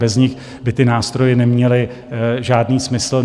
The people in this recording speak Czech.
Bez nich by ty nástroje neměly žádný smysl.